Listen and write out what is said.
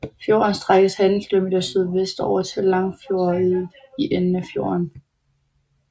Fjorden strækker sig 18 km sydvestover til Langfjordeid i enden af fjorden